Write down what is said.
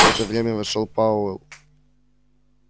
в это время вошёл пауэлл